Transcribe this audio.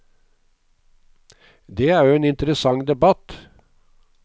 Det er jo en interessant debatt.